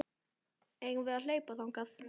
Eigum við að hlaupa þangað?